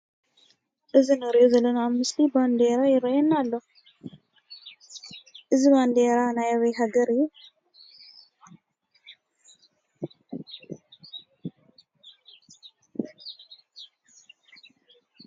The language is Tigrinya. ኣብዚ ንሪኦ ዘለና ምስሊ ባንዲራ ይርአየና ኣሎ፡፡ እዚ ባንዲራ ናይ ኣበይ ሃገር እዩ?